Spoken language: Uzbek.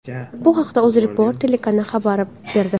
Bu haqda UzReport telekanali xabar berdi .